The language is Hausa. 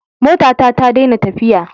Motata ta dena tafiya